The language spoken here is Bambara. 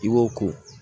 I b'o ko